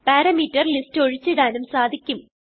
parameter list ഒഴിച്ചിടാനും സാധിക്കും